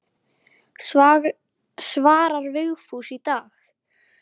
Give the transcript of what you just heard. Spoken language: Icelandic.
Svarar Vigfús í dag?